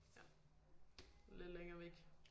Ja lidt længere væk